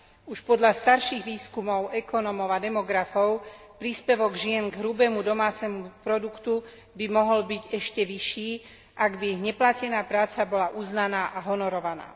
Už podľa starších výskumov ekonómov a demografov by príspevok žien k hrubému domácemu produktu mohol byť ešte vyšší, ak by ich neplatená práca bola uznaná a honorovaná.